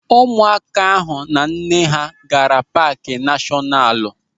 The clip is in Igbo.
Ụmụaka ahụ na nne ha gaara paaki nashọnalu.